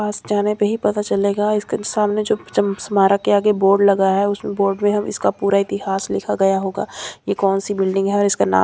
पास जाने पे ही पता चलेगा इसके सामने जो चम स्मारक के आगे बोर्ड लगा है उस बोर्ड मे हम इसका पूरा इतिहास लिखा गया होगा यह कौन सी बिल्डिंग है और इसका नाम --